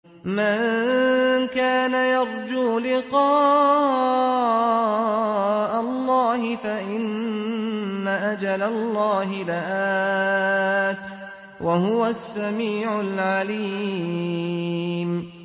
مَن كَانَ يَرْجُو لِقَاءَ اللَّهِ فَإِنَّ أَجَلَ اللَّهِ لَآتٍ ۚ وَهُوَ السَّمِيعُ الْعَلِيمُ